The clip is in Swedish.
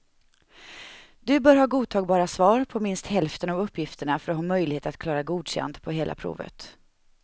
Du bör ha godtagbara svar på minst hälften av uppgifterna för att ha möjlighet att klara godkänd på hela provet.